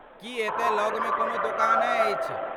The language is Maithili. की एतय लगमे कोनो दोकान अछि?